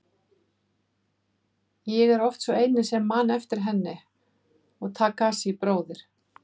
Ég er oft sá eini sem man eftir henni og Takashi bróðir.